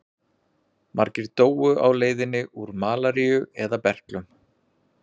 Margir dóu á leiðinni úr malaríu eða berklum.